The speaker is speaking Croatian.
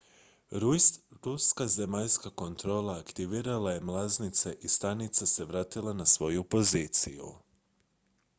ruska zemaljska kontrola aktivirala je mlaznice i stanica se vratila na svoju poziciju